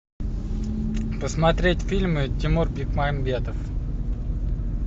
посмотреть фильмы тимур бекмамбетов